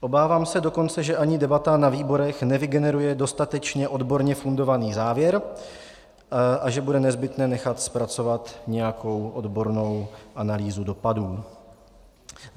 Obávám se dokonce, že ani debata na výborech nevygeneruje dostatečně odborně fundovaný závěr a že bude nezbytné nechat zpracovat nějakou odbornou analýzu dopadu.